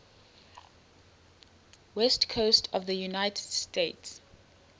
west coast of the united states